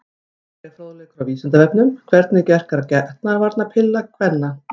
Frekari fróðleikur á Vísindavefnum: Hvernig verkar getnaðarvarnarpilla kvenna?